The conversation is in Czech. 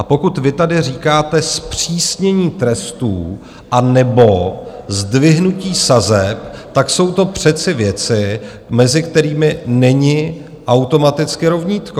A pokud vy tady říkáte zpřísnění trestů anebo zdvihnutí sazeb, tak jsou to přece věci, mezi kterými není automaticky rovnítko.